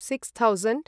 six thousand